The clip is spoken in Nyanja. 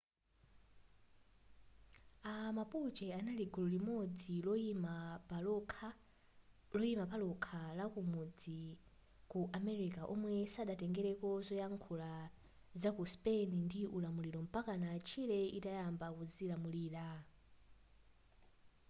a mapuche anali gulu limodzi loyima palokha lakumudzi ku america omwe sadatengereko zoyankhula zaku spain ndi ulamuliro mpakana chile atayamba kudzilamulira